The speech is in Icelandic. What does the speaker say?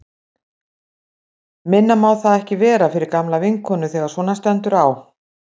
Minna má það ekki vera fyrir gamla vinkonu þegar svona stendur á.